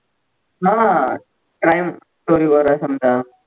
हा time story वर आहे समजा